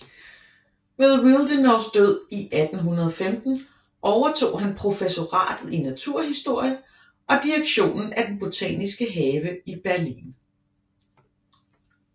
Ved Willdenows død 1815 overtog han professoratet i naturhistorie og direktionen af den botaniske have i Berlin